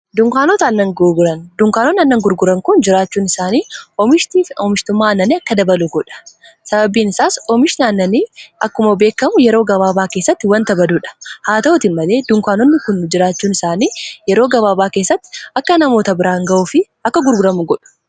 dunkaanoonaannan gurguran kun jiraachuun isaanii mhti omishtummaa annanii akka dabalu godha sababiin isaas oomish naannanii akkuma beekamu yeroo gabaabaa keessatti wanta baduudha haa ta'utin malee dunkaanonni kun jiraachuun isaanii yeroo gabaabaa keessatti akka namoota biraan ga'uu fi akka gurguramu godhu